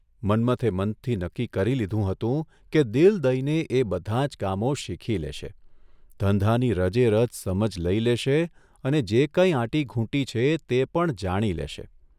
મન્મથે મનથી નક્કી કરી લીધું હતું કે દિલ દઇને એ બધાં જ કામો શીખી લેશે, ધંધાની રજેરજ સમજ લઇ લેશે અને જે કાંઇ આંટીઘૂંટી છે તે પણ જાણી લેશે.